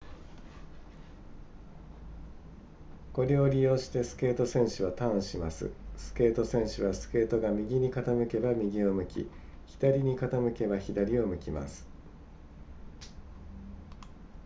これを利用してスケート選手はターンしますスケート選手はスケートが右に傾けば右を向き左に傾けば左を向きます